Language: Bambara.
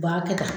U b'a kɛ ta